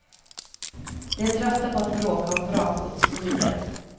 De är trötta på att bråka om vrakgods och drivved.